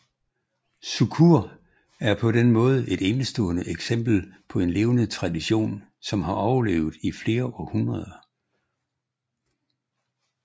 Sukur er på den måde et enestående eksempel på en levende tradition som har overlevet i flere århundreder